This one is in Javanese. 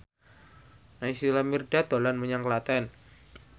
Naysila Mirdad dolan menyang Klaten